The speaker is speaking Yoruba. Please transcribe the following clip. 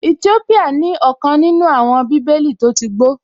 Ètópíyà ní ọ̀kan nínú àwọn bíbélì tó tí gbó